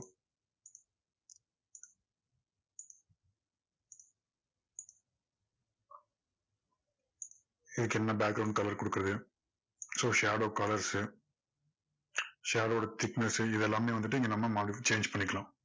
இதுக்கு என்ன colour கொடுக்கிறது so shadow colours shadow வோட thickness இது எல்லாமே வந்துட்டு நம்ம இங்க modify change பண்ணிக்கலாம்.